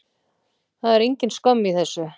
Það er engin skömm í þessu.